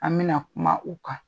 An mi na kuma u kan.